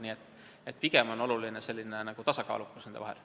Nii et pigem on oluline tasakaal nende vahel.